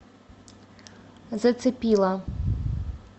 зацепила